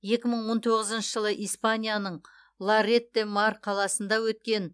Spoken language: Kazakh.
екі мың он тоғызыншы жылы испанияның лорет де мар қаласында өткен